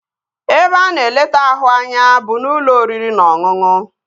Ebe a na-eleta ahụ anya bụ n'ụlọ oriri na ọṅụṅụ